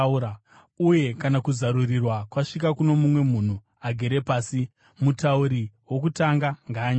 Uye kana kuzarurirwa kwasvika kuno mumwe munhu agere pasi, mutauri wokutanga ngaanyarare.